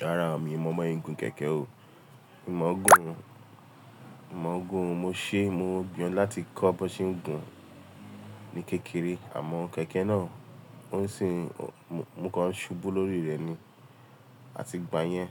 Rárá o, mi ò mọ bíwọn gùn kẹ̀kẹ́ o. Mi mò ń gùn, mo ṣeé mo gbìyàn láti kọ́ bọ́nsé gùn ní kékeré àmọ́ kẹ̀kẹ́ náà mo kàn ṣubú lórí rẹ̀ ni, a ti gba yẹn,